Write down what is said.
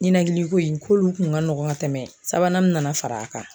Ninakili ko in k'olu kun ka nɔgɔn ka tɛmɛ sabanan min nana far'a kan.